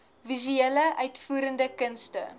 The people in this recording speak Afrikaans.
visuele uitvoerende kunste